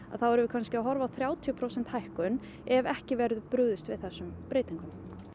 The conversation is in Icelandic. erum við kannski að horfa á þrjátíu prósent hækkun ef ekki verður brugðist við þessum breytingum